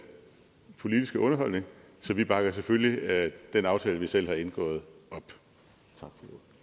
politiske underholdning så vi bakker selvfølgelig den aftale vi selv har indgået op